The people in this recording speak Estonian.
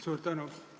Suur tänu!